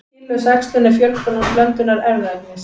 Kynlaus æxlun er fjölgun án blöndunar erfðaefnis.